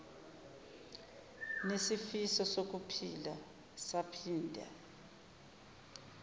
nisifiso sokuphila saphinde